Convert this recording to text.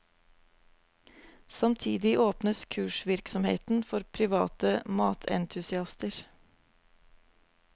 Samtidig åpnes kursvirksomheten for private matentusiaster.